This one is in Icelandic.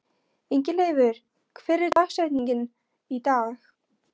Ingileifur, hver er dagsetningin í dag?